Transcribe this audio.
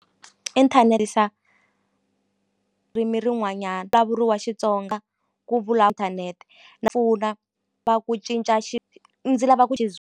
rin'wanyana wa Xitsonga ku va ku cinca ndzi lava ku .